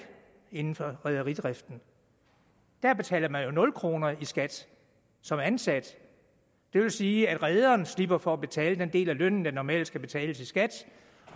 inden for rederidrift der betaler man jo nul kroner i skat som ansat det vil sige at rederen slipper for at betale den del af lønnen der normalt skal betales i skat